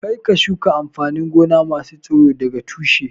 Kar ka shuka amfanin gona masu tsiro daga tushe!